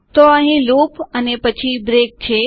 તો અહીં લૂપ અને પછી બ્રેક છે